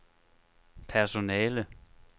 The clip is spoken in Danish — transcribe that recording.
personale